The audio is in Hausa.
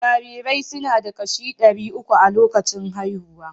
Jarirai suna da kashi ɗari uku a lokacin haihuwa